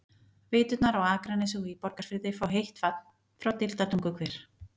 Veiturnar á Akranesi og í Borgarfirði fá heitt vatn frá Deildartunguhver.